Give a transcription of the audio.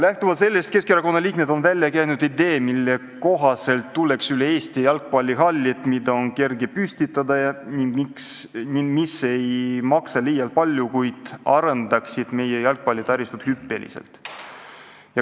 Lähtuvalt sellest on Keskerakonna liikmed käinud välja idee, mille kohaselt tuleks üle Eesti rajada jalgpallihallid, mida on kerge püstitada ning mis ei maksa liialt palju, kuid arendaksid meie jalgpallitaristut hüppeliselt.